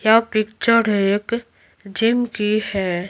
यह पिक्चर एक जिम की है।